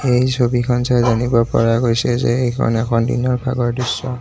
এই ছবিখন চাই জানিব পৰা গৈছে যে এইখন এখন দিনৰ ভাগৰ দৃশ্য।